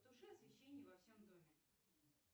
потуши освещение во всем доме